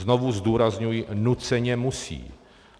Znovu zdůrazňuji - nuceně musí.